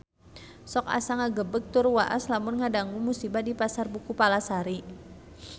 Sok asa ngagebeg tur waas lamun ngadangu musibah di Pasar Buku Palasari